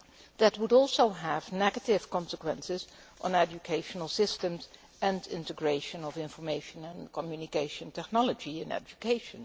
That would also have negative consequences on educational systems and integration of information and communication technology in education.